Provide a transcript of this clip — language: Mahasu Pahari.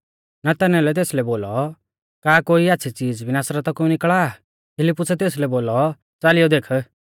नतनएलै तेसलै बोलौ का कोई आच़्छ़ी च़ीज़ भी नासरता कु निकल़ा आ फिलिप्पुसै तेसलै बोलौ च़ालियौ देख